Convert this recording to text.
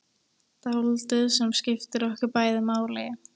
Dáldið sem skiptir okkur bæði máli.